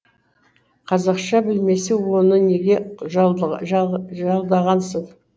қазақша білмесе оны неге жалдағансың